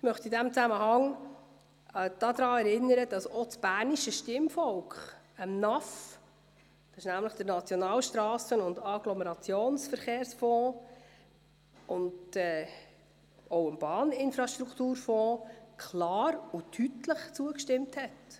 Ich möchte in diesem Zusammenhang daran erinnern, dass das bernische Stimmvolk dem Nationalstrassen- und Agglomerationsverkehrsfonds (NAF) und dem Bahninfrastrukturfonds (BIF) klar und deutlich zugestimmt hat.